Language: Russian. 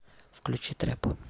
включи трэп